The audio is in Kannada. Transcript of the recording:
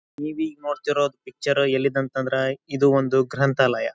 ನೀವು ಈಗ್ ನೋಡುತಿರುದ್ದ್ ಪಿಕ್ಚರ್ ಎಲ್ಲಿದು ಅಂತ ಅಂದ್ರೆ ಇದು ಒಂದು ಗ್ರಂಥಾಲಯ.